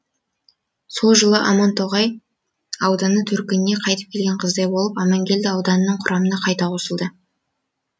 сол жылы амантоғай ауданы төркініне қайтып келген қыздай болып амангелді ауданының құрамына қайта қосылды